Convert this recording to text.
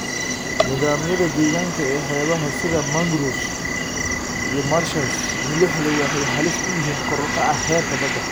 Nidaamyada deegaanka ee xeebaha sida mangroves iyo marshes milixdu waxay halis u yihiin kor u kaca heerka badda.